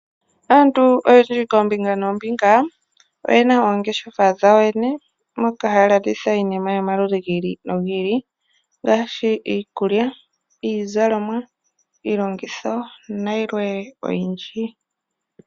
Aantu oyendji kombinga nombinga oyena oongeshefa dhawo yoyene moka haya landitha iinima yomaludhi gili no gili ngaashi iikulya , iizalomwa, iilongitho nayilwe oyindji.